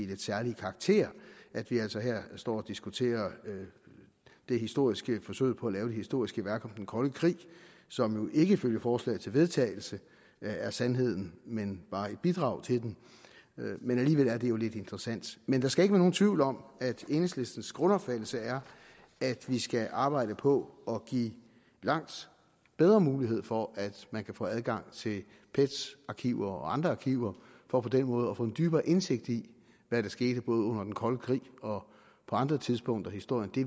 lidt særlige karakter at vi altså her står og diskuterer det historiske forsøg på at lave et historisk værk om den kolde krig som jo ikke ifølge forslaget til vedtagelse er sandheden men bare et bidrag til den men alligevel er det jo lidt interessant men der skal ikke være nogen tvivl om at enhedslistens grundopfattelse er at vi skal arbejde på at give langt bedre mulighed for at få adgang til pet’s arkiver og andre arkiver for på den måde at få en dybere indsigt i hvad der skete både under den kolde krig og på andre tidspunkter af historien det